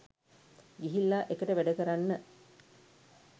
ගිහිල්ලා එකට වැඩ කරන්න